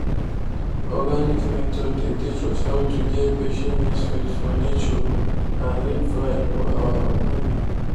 organic methods dey teach us how to get patience respect for nature and real pride for our farming.